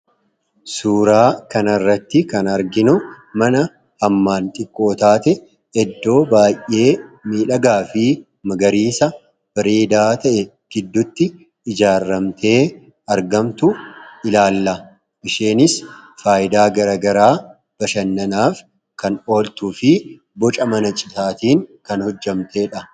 Suuraa kana irratti kan arginu mana hammaan xiqqoo taate iddoo baay'ee miidhagaa fi magariisa bareedaa ta'e gidduutti ijaaramtee argamtu ilaalla. Manittiinis faayidaa gara garaa bashannanaaf kan ooltuu fi boca mana citaatiin kan hojjetamtedha.